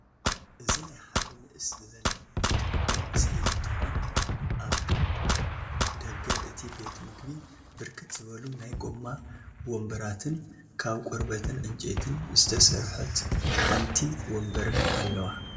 እዚ ናይ ሓደ ንእስ ዝበለ ቤት ምግቢ ምስሊ እንትኮን አበብ ደገ እቲ ቤት ምግቢ ብርክት ዝበሉ ናይ ጎማ ወምበራትን ካብ ቆርበትን ዕንጨይትን ስተሰርሐት ሓንቲ ወምበርን አለዋ፡፡